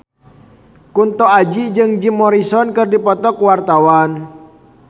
Kunto Aji jeung Jim Morrison keur dipoto ku wartawan